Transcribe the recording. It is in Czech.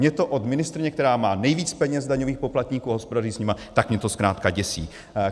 Mě to od ministryně, která má nejvíc peněz daňových poplatníků a hospodaří s nimi, tak mě to zkrátka děsí.